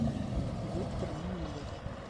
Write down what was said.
виктор мумлев